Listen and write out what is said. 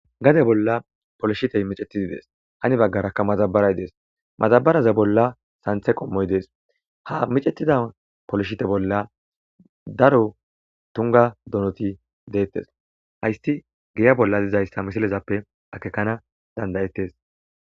Gade bolla polshitey miccetidi de'es hani baggaraka madabaray de'es madabaraza bolla santhe qommoy de'es ha miccetida polshite bolla daro tunga donoti deetes hayti giya bolla dizayssa misilezappe akekana danda'etes.